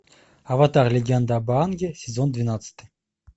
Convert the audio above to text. аватар легенда об аанге сезон двенадцать